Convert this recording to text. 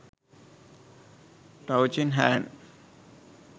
touching hand